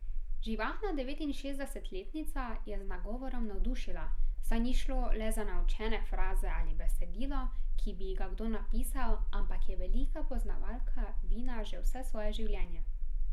Živahna devetinšestdesetletnica je z nagovorom navdušila, saj ni šlo le za naučene fraze ali besedilo, ki bi ji ga kdo napisal, ampak je velika poznavalka vina že vse svoje življenje.